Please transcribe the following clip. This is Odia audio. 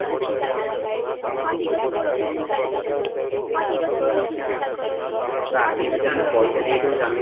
ତ ଆଗେ ଯଦି ଆମେ ପଇସା ଦେଇଦେଉଚୁ ଆମେ